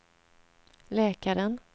läkaren